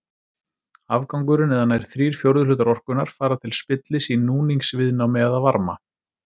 Afgangurinn eða nær þrír fjórðu hlutar orkunnar fara til spillis í núningsviðnámi eða varma.